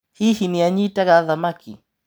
Hihi nĩanyitaga thamaki.